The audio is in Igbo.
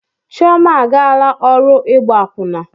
Chioma agaala ọrụ ịgba akwụna.